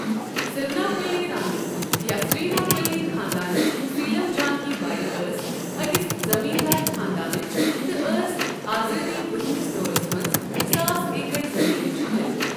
سرناپلی رانی یا سریناپلی خاندانٕچ سیٖلم جانکی بایی ٲسۍ أکس زمیٖندار خاندانٕچ تہٕ ٲس آزٲدی برٛونٛہمِس دورس منٛز ساس ایکَڑ زٔمیٖنٕچ مٲلِک۔